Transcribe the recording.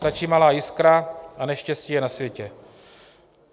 Stačí malá jiskra a neštěstí je na světě.